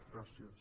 gràcies